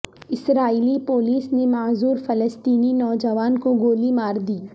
اسرائیلی police نے معذور فلسطینی نوجوان کو گولی ماردی